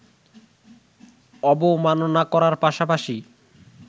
অবমাননা করার পাশাপাশি